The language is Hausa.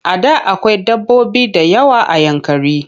A da akwai dabbobi da yawa a Yankari.